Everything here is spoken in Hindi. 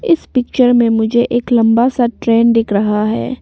इस पिक्चर में मुझे एक लंबा सा ट्रेन दिख रहा है।